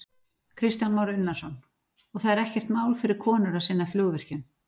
Kristján Már Unnarsson: Og það er ekkert mál fyrir konur að sinna flugvirkjun?